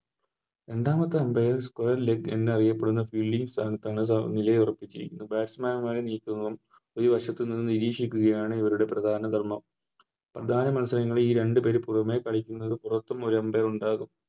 രണ്ടാമത്തെ Umpire എന്നറിയപ്പെടുന്ന Square leg ൽ എന്നറിയപ്പെടുന്ന Fielding സ്ഥാനത്ത് നിലയുറപ്പിക്കുകയും Batsman മാരെ നീക്കുകയും ഒരു വശത്തുനിന്നും നിരീക്ഷിക്കുകയാണ് ഇവരുടെ പ്രധാന ധർമ്മം പ്രധാന മത്സരങ്ങളിൽ ഈ രണ്ട് പേര് പൂർണ്ണമായി കളിക്കുന്നത് കൊണ്ടാവും